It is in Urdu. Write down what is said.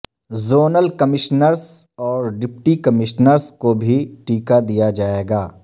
زونل کمشنرس اور ڈپٹی کمشنرس کو بھی ٹیکہ دیا جائے گا